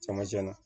Camancɛ la